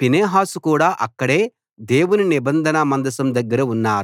Phinehas కూడా అక్కడే దేవుని నిబంధన మందసం దగ్గర ఉన్నారు